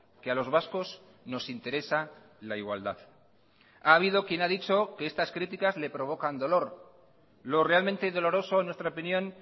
que a los vascos nos interesa la igualdad ha habido quien ha dicho que estas críticas le provocan dolor lo realmente doloroso en nuestra opinión